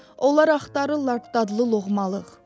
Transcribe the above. Onlar axtarırlar dadlı loğmalığ.